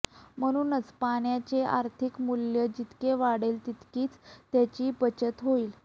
म्हणूनच पाण्याचे आर्थिक मूल्य जितके वाढेल तितकी त्याची बचत होईल